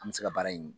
An bɛ se ka baara in